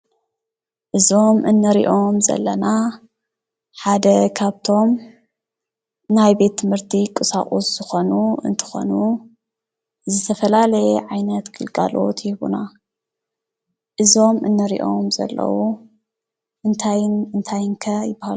እዞም ንሪኦም ዘለና ሓደ ካብቶም ናይ ቤት ትምህርቲ ቁሳቁስ ዝኾኑ እንትኾኑ ዝተፈላለየ ዓይነት ግልጋሎት ይህቡና ። እዞም እንሪኦም ዘለው እንታይን እንታይን ከ ይበሃሉ ?